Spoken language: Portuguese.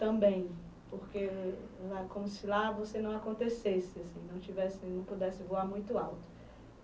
Também, porque lá como se lá, você não acontecesse assim, não tivesse, não pudesse voar muito alto.